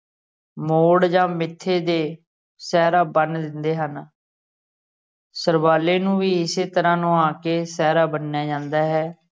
ਮੋੜ ਜਾਂ ਮੱਥੇ ਤੇ ਸਿਹਰਾ ਬੰਨ ਦਿੰਦੇ ਹਨ ਸਰਬਾਲੇ ਨੂੰ ਵੀ ਇਸੇ ਤਰ੍ਹਾਂ ਨਵਾ ਕੇ ਸਿਹਰਾ ਬੰਨਿਆ ਜਾਂਦਾ ਹੈ।